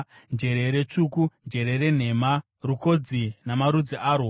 njerere tsvuku, njerere nhema, rukodzi namarudzi arwo,